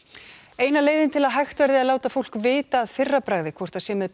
eina leiðin til að hægt verði að láta fólk vita að fyrra bragði hvort það sé með